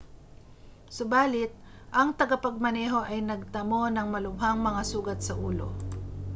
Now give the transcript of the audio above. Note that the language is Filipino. subali't ang tagapagmaneho ay nagtamo ng malubhang mga sugat sa ulo